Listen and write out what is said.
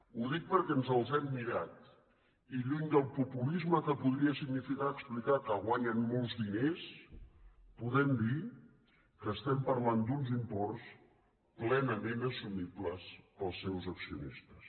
ho dic perquè ens els hem mirat i lluny del populisme que podria significar explicar que guanyen molts diners podem dir que estem parlant d’uns imports plenament assumibles pels seus accionistes